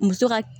Muso ka